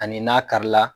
Ani n'a kari la